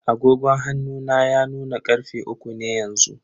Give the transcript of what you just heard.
Agogon hannu na ya nuna karfe uku ne yanzu.